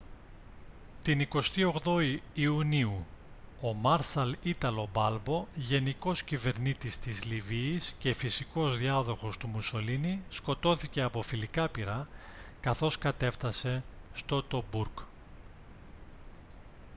την 28η ιουνίου ο μάρσαλ ίταλο μπάλμπο γενικός κυβερνήτης της λιβύης και φυσικός διάδοχος του μουσολίνι σκοτώθηκε από φιλικά πυρά καθώς κατέφτασε στο τομπούρκ